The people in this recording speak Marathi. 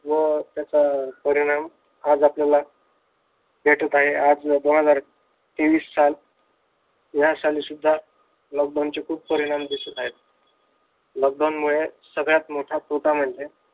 व त्याचा परिणाम आज आपल्याला भेटत आहे आज दोन हजार तेवीस साल या साली सुद्धा लॉकडाऊनचे खूप परिणाम दिसत आहेत. लॉकडाऊन मुळे सगळ्यात मोठा तोटा म्हणजे